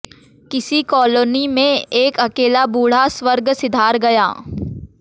किसी कॉलोनी में एक अकेला बूढ़ा स्वर्ग सिधार गया